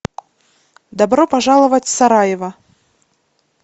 добро пожаловать в сараево